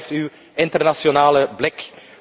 Waar blijft uw internationale blik?